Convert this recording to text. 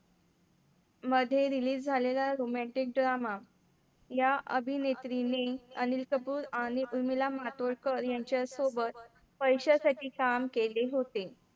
मध्ये release झालेला Romantic drama या अभिनेत्री ने अनिल कपूर आणि उर्मिला मातोडकर यांच्यासोबत पैशांसाठी काम केले होते.